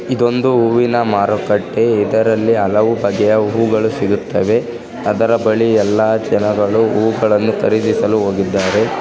ಇದೊಂದು ಹೂವಿನ ಮಾರುಕಟ್ಟೆ ಇದರಲ್ಲಿ ಹಲವು ಬಗೆಯ ಹೂವುಗಳು ಸಿಗುತ್ತವೆ. ಅದರ ಬಳಿ ಎಲ್ಲಾ ಜನಗಳು ಹೂವುಗಲ್ಲನ್ನು ಖರೀದಿಸಲು ಹೋಗಿದ್ದಾರೆ.